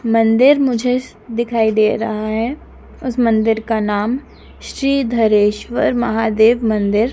मंदिर मुझे दिखाई दे रहा है उस मंदिर का नाम श्री धरेश्वर महादेव मंदिर--